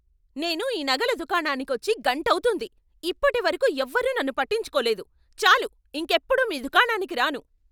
నేను ఈ నగల దుకాణానికి వచ్చి గంటవుతోంది, ఇప్పటివరకు ఎవరూ నన్ను పట్టించుకోలేదు. చాలు, ఇంకెప్పుడూ మీ దుకాణానికి రాను!